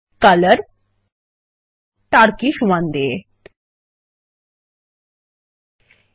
দেখুন যে জল এ ত্রিভুজ এর প্রান্তরেখা এবং বক্ররেখাটি প্রদর্শিত হচ্ছে